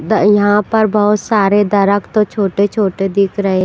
the यहाँ पर बहुत सारे दरख्त तो छोटे छोटे दिख रहे --